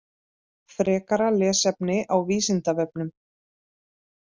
Frekara lesefni á Vísindavefnum